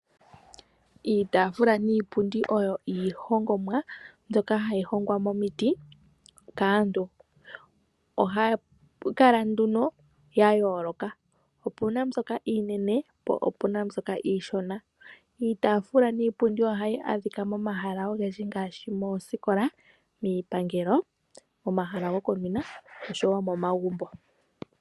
Iitafula niipundi oyo iihongomwa mbyoka hayi hongwa momiti kaantu, oha pu kala nduno ya yooloka. Opu na mbyoka iinene po opu na mbyoka iishona. Iitafula niipundi ohayi adhika momahala ogendji ngaashi moosikola, miipangelo, momahala gokuninwa oshowo momagumbo.